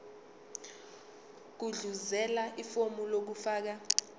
gudluzela ifomu lokufaka